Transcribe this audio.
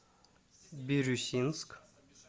бирюсинск